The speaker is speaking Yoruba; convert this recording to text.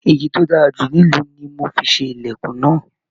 Ìgi to dára jù nílu ní mò fi ṣe ilẹkùn náà.